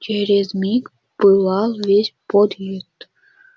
через миг пылал весь подъезд